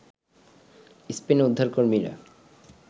স্পেনে উদ্ধারকর্মীরা